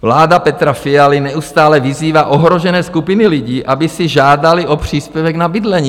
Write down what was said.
Vláda Petra Fialy neustále vyzývá ohrožené skupiny lidí, aby si žádaly o příspěvek na bydlení.